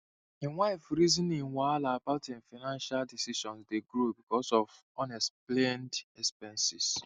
him wife rizin wahala about him financial decisions dey grow because of unexplained expenses